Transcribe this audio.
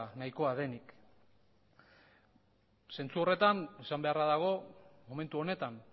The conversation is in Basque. nahikoa denik zentzu horretan esan beharra dago momentu honetan